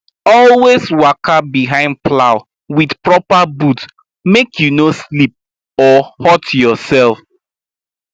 always waka behind plow with proper boot make you no slip or hurt yourself